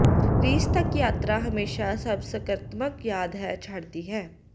Greece ਤੱਕ ਯਾਤਰਾ ਹਮੇਸ਼ਾ ਸਭ ਸਕਾਰਾਤਮਕ ਯਾਦ ਹੈ ਛੱਡਦੀ ਹੈ